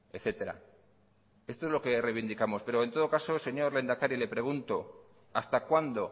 etcétera esto es lo que reivindicamos pero en todo caso señor lehendakari le pregunto hasta cuándo